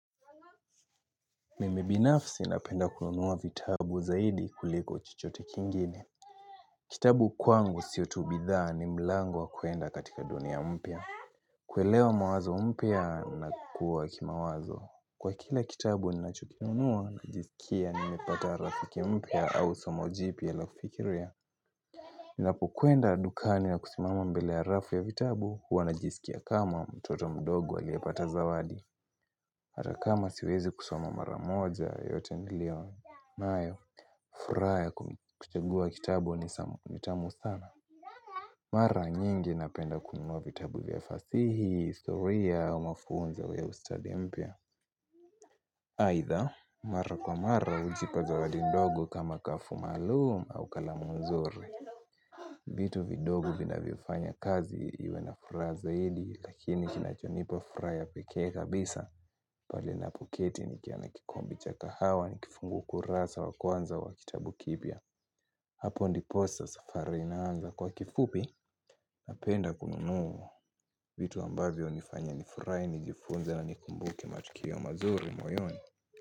Mimi binafsi napenda kununuwa vitabu zaidi kuliko chochote kingine Kitabu kwangu sio tu bidhaa ni mlango wa kuenda katika dunia mpya kuelewa mawazo mpya na kukuwa kimawazo Kwa kila kitabu ninachokinunua najisikia nimepata rafiki mpya au somo jipya la kufikiria Ninapokwenda dukani na kusimama mbele ya rafu ya vitabu huwa najisikia kama mtoto mdogo aliyepata zawadi Hata kama siwezi kusoma mara moja, yote niliyo nayo. Furaha ya kuchagua kitabu ni tamu sana. Mara nyingi napenda kununuwa vitabu vya fasihi, historia au mafunzo ya ustadi mpya. Aidha, mara kwa mara hujipa zawadi ndogo kama ghafu maalumu au kalamu nzuri. Vitu vidogo vinavyofanya kazi iwe na furaha zaidi, lakini kinachonipa furaha ya pekee kabisa pale ninapoketi nikiona kikombe cha kahawa nikifungua ukurasa wa kwanza wa kitabu kipya. Hapo ndiposa safari inaanza. Kwa kifupi napenda kununua vitu ambavyo hunifanya nifurahi, nijifunze na nikumbuke matukio mazuri moyoni.